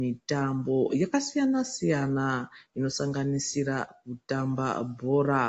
mitambo yakasiyana siyana inosanganisira kutamba bhora.